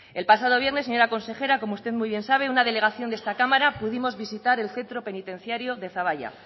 el pasado viernes señora consejera como usted muy bien sabe una delegación de esta cámara pudimos visitar el centro penitenciario de zaballa